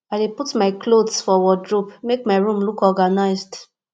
i dey put my clothes for wardrobe make my room look organized